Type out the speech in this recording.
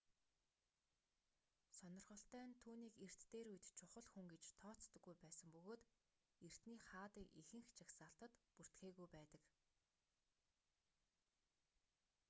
сонирхолтой нь түүнийг эрт дээр үед чухал хүн гэж тооцдоггүй байсан бөгөөд эртний хаадын ихэнх жагсаалтад бүртгээгүй байдаг